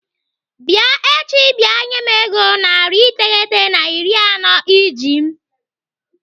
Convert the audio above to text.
Bịa echi bịa nye m ego narị iteghete na iri anọ iji m!